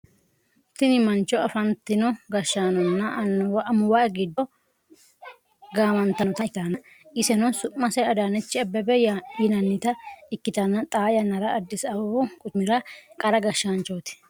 tini mancho afantino gashshaanonna amuwi giddo gaamantannota ikkitanna, iseno su'mase adaanechi abebe yinannita ikkitanna, xaa yannara addisi abebbu quchumi'ra qara gashshaanchooti.